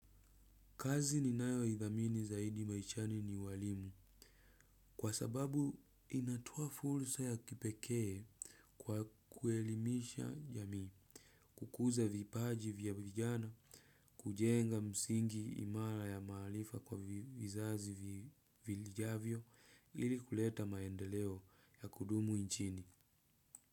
Kazi ninayo idhamini zaidi maishani ni uwalimu kwa sababu inatao fursa ya kipekee kwa kuelimisha jamii, kukuza vipaji vya vijana, kujenga msingi imara ya maarifa kwa vizazi vijavyo ili kuleta maendeleo ya kudumu nchini.